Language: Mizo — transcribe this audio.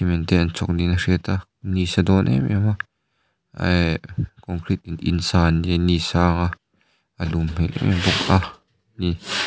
cement te an chawk niin a hriat a ni a sa dawn em em a eh concrete in sa an ni sa a a lum hmel em em bawk ani.